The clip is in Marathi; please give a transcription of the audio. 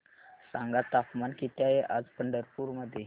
सांगा तापमान किती आहे आज पंढरपूर मध्ये